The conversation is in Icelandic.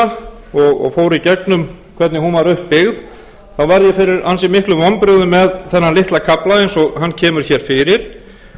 las skýrsluna og fór í gengum hvernig hún er upp byggð varð ég fyrir ansi miklum vonbrigðum með þennan litla kafla eins og hann kemur hér fyrir